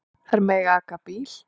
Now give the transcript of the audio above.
Þær mega aka bíl.